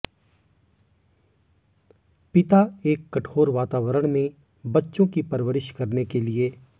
पिता एक कठोर वातावरण में बच्चों की परवरिश करने के लिए